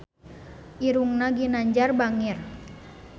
Irungna Ginanjar bangir